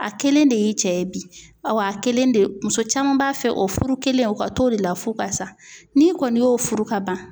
A kelen de y'i cɛ ye bi a wa a kelen de muso caman b'a fɛ o furu kelen u ka t'o de la f'u ka sa n'i kɔni y'o furu kaban